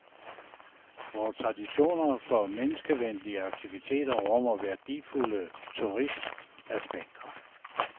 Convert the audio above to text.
Vores traditioner for menneskevenlige aktiviteter rummer værdifulde turismeaspekter.